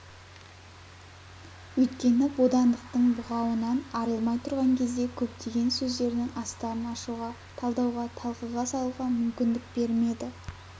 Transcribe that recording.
өйткені бодандықтың бұғауынан арылмай тұрған кезде көптеген сөздердің астарын ашуға талдауға талқыға салуға мүмкіндік бермеді